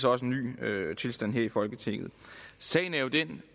også en ny tilstand her i folketinget sagen er jo den